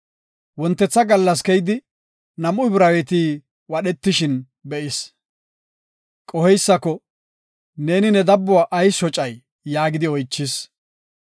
Wontetha gallas keyidi, nam7u Ibraaweti wadhetishin be7is. Qoheysako, “Neeni ne dabbuwa ayis shocay?” yaagidi oychis.